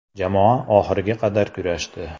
Jamoa oxiriga qadar kurashdi.